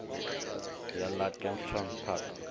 ya ḽa kempton park ni